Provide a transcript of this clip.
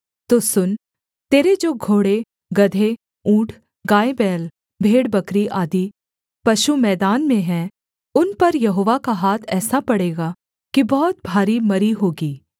तो सुन तेरे जो घोड़े गदहे ऊँट गायबैल भेड़बकरी आदि पशु मैदान में हैं उन पर यहोवा का हाथ ऐसा पड़ेगा कि बहुत भारी मरी होगी